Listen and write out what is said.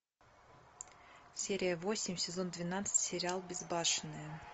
серия восемь сезон двенадцать сериал безбашенные